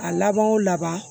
A laban wo laban